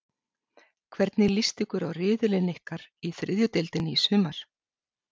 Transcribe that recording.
Hvernig list ykkur á riðilinn ykkar í þriðju deildinni í sumar?